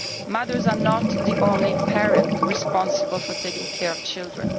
Mothers are not the only parents responsible for taking care of children.